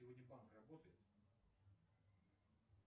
сегодня банк работает